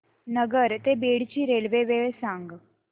नगर ते बीड ची रेल्वे वेळ सांगा